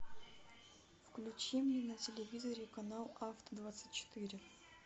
включи мне на телевизоре канал авто двадцать четыре